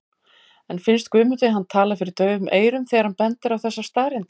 En finnst Guðmundi hann tala fyrir daufum eyrum þegar hann bendir á þessar staðreyndir?